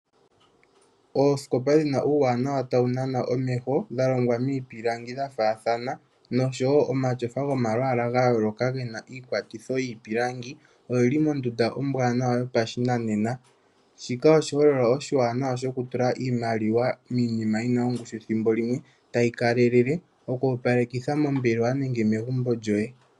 Oosikopa dhi na uuwanawa tawu nana omeho dha longwa miipilangi dha faathana noshowo omatyofa gomalwaala ga yooloka ngoka ge na iikwatitho yiipilangi oge li mondunda ombwaanawa yopashinanena. Shika oshiholelwa oshiwanawa shokutula iimaliwa miinima yi na ongushu thimbo limwe tayi kalelele, okuopalekitha mombelewa nenge megumbo lyoye.